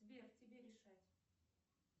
сбер тебе решать